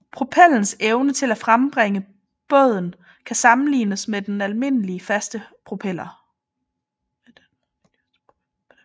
Propellens evne til at frembringe båden kan sammenlignes med den for almindelige faste propeller